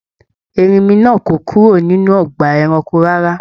Erinmi náà kò kúrò nínú ọgbà ẹranko rárá.